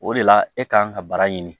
O de la e kan ka bara ɲini